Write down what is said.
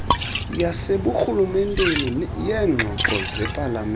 yaseburhulumenteni yeengxoxo zepalamente